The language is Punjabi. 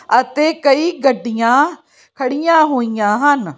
ਅਤੇ ਕਈ ਗੱਡੀਆਂ ਖੜੀਆਂ ਹੋਈਆਂ ਹਨ।